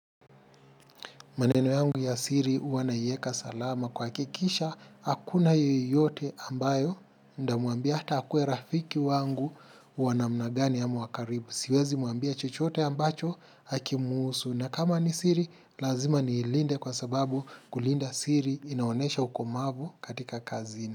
Maneno yangu ya siri huwa naieka salama kuhakikisha hakuna yeyote ambaye nitamuambia hata akuwe rafiki wangu wa namna gani ama wa karibu. Siwezi muambia chochote ambacho hakimhusu na kama ni siri lazima niilinde kwa sababu kulinda siri inaonesha ukomavu katika kazini.